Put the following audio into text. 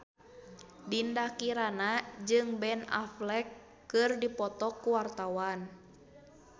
Dinda Kirana jeung Ben Affleck keur dipoto ku wartawan